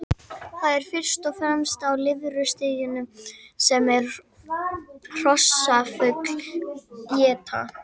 Það er fyrst og fremst á lirfustiginu sem hrossaflugur éta.